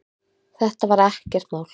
Þetta var ekkert mál.